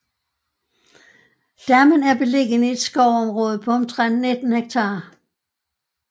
Dammen er beliggende i et skovområde på omtrent 19 ha